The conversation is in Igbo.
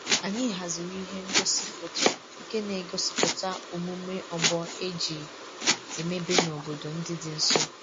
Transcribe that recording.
Anyị haziri ihe ngosi foto nke na-egosipụta omume ọgbọ e ji emebe n'obodo ndị dị nso